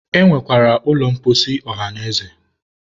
e nwekwara ụlọ mposi ọhanaeze